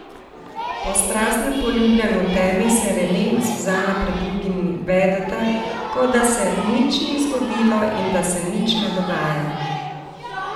Po strastnem poljubljanju v temi se Rene in Suzana pred drugimi vedeta, kot da se nič ni zgodilo in da se nič ne dogaja.